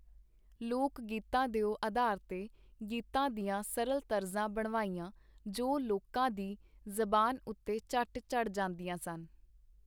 ਲੋਕ-ਗੀਤਾਂ ਦੇ ਅਧਾਰ ਤੇ ਗੀਤਾਂ ਦੀਆਂ ਸਰਲ ਤਰਜ਼ਾਂ ਬਣਵਾਈਆਂ, ਜੋ ਲੋਕਾਂ ਦੀ ਜ਼ਬਾਨ ਉਤੇ ਝੱਟ ਚੜ੍ਹ ਜਾਂਦੀਆਂ ਸਨ.